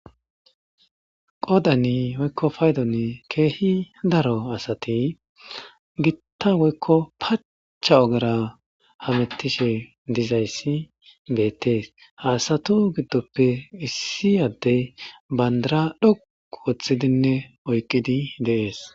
Qoddani woyikka payiduwani kehi darro assati bitta woyiko pacca ogera hametishe dizayissi bettesi ha assatu giddope issi adeyi banidira dhoqu othidi deyessi